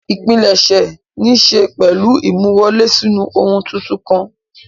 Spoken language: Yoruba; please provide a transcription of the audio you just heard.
Ìpilẹ̀ṣẹ̀ níṣe pẹ̀lú ìmúwọlè sínú ohun tuntun kan.